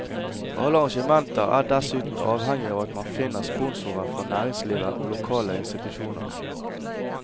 Alle arrangementer er dessuten avhengig av at man finner sponsorer fra næringslivet og lokale institusjoner.